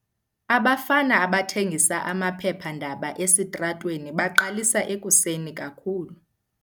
Abafana abathengisa amaphephandaba esitratweni baqalisa ekuseni kakhulu.